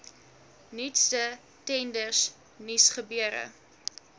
nuutste tenders nuusgebeure